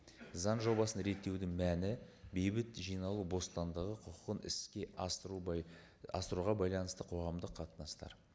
заң жобасын реттеудің мәні бейбіт жиналу бостандығы құқығын іске асыру асыруға байланысты қоғамдық қатынастар